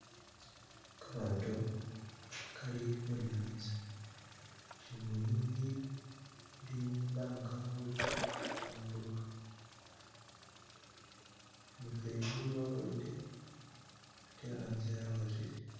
Gamaato gali khunyaza bunyunyi buli mubanga buli khubambulukha namufeli waboyile ate hanze akhosile.